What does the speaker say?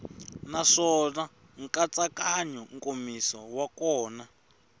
naswona nkatsakanyo nkomiso wa kona